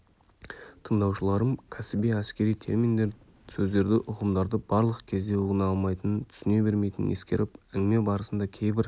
тыңдаушыларым кәсіби әскери терминдерді сөздерді ұғымдарды барлық кезде ұғына алмайтынын түсіне бермейтінін ескеріп әңгіме барысында кейбір